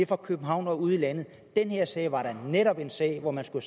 fra københavn og ud i landet den her sag var netop en sag hvor man skulle